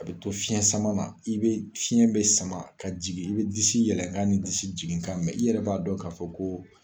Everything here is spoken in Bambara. A bɛ to fiɲɛ sama na i bɛ fiɲɛ bɛ sama ka jigin i bɛ disi yɛlɛnkan ni disi jiginkan mɛn i yɛrɛ b'a dɔn k'a fɔ ko.